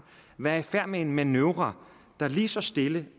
være i færd med en manøvre der lige så stille